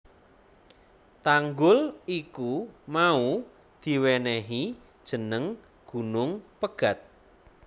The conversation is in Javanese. Tanggul iku mau diwenehi jeneng Gunung Pegat